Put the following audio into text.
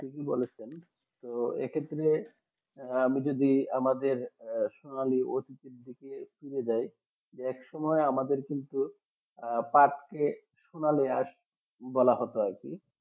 ঠিকই বলেছেন তো এক্ষেত্রে আহ আমি যদি আমাদের আহ আমিও দেয় এক সময় আমাদের কিন্তু আহ পাটকে সোনালিয়াস বলা হতো আরকি